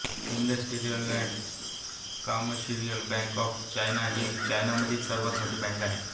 industrial and commercial bank of China ही चीनमधली सर्वात मोठी बँक आहे